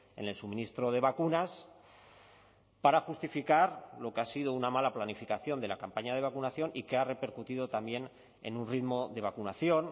en el suministro de vacunas para justificar lo que ha sido una mala planificación de la campaña de vacunación y que ha repercutido también en un ritmo de vacunación